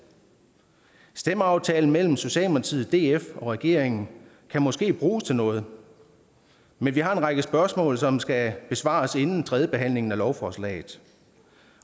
stemmeaftalen mellem socialdemokratiet df og regeringen kan måske bruges til noget men vi har en række spørgsmål som skal besvares inden tredje behandling af lovforslaget